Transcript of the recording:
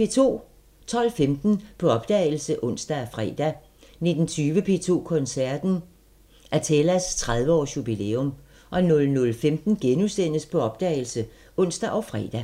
12:15: På opdagelse (ons og fre) 19:20: P2 Koncerten – Athelas 30 års jubilæum 00:15: På opdagelse *(ons og fre)